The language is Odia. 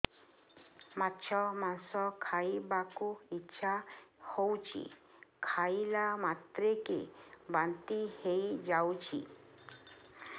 ମାଛ ମାଂସ ଖାଇ ବାକୁ ଇଚ୍ଛା ହଉଛି ଖାଇଲା ମାତ୍ରକେ ବାନ୍ତି ହେଇଯାଉଛି